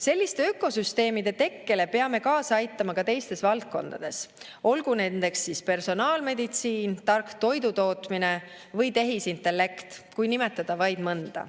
Selliste ökosüsteemide tekkele peame kaasa aitama ka teistes valdkondades, olgu nendeks siis personaalmeditsiin, tark toidutootmine või tehisintellekt, kui nimetada vaid mõnda.